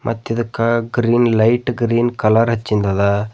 ಮತ್ತಿದಕ green light green colour ಹಚಿಂದ್ ಅದ.